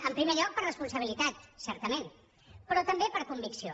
en primer lloc per responsabilitat certament però també per convicció